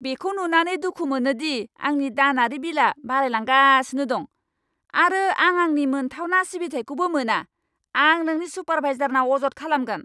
बेखौ नुनानै दुखु मोनो दि आंनि दानारि बिलआ बारायलांगासिनो दं, आरो आं आंनि मोनथावना सिबिथाइखौबो मोना। आं नोंनि सुपारभाइजारनाव अजद खालामगोन!